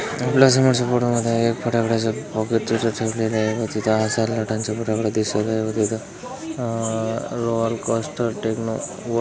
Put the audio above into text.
आपल्या समोरच्या फोटो मध्ये एक फट्याकड्याच पैकेट दिसत सुटलेलं आहे व तिथं फट्याकड्या दिसत आहे व तिथ अह रॉआल कॅस्टर टेक्नो --